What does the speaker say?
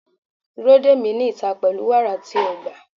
Dúró dè mí ní ìta pẹ̀lú wàrà tí o gbà.